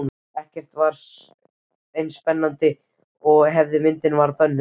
Ekkert var eins spennandi og ef myndin var bönnuð.